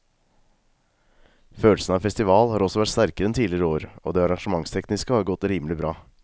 Følelsen av festival har også vært sterkere enn tidligere år og det arrangementstekniske har godt rimelig bra.